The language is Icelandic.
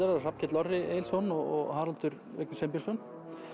eru Hrafnkell Orri Egilsson og Haraldur Sveinbjörnsson